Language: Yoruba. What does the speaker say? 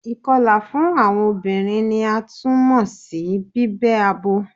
Ikọla fun awọn obinrin ni a tun mọ si bibẹ abo